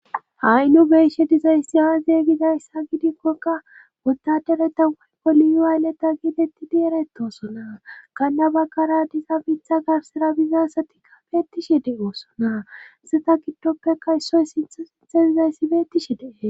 A'i nu beshe dizayssi aazeygizayssa gidikkokka wotadereta woygoli yuwayleta giedetti dieretosona kanna baggara diza mitha garsera bizasatikka beettishe dee oosona seta giddoppeka issoy sintho sinthe dizayssi beettishi dee.